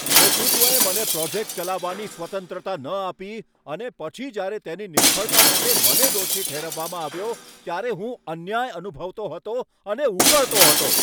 નેતૃત્વએ મને પ્રોજેક્ટ ચલાવવાની સ્વતંત્રતા ન આપી અને પછી જ્યારે તેની નિષ્ફળતા માટે મને દોષી ઠેરવવામાં આવ્યો, ત્યારે હું અન્યાય અનુભવતો હતો અને ઉકળતો હતો.